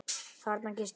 Þarna gisti ég.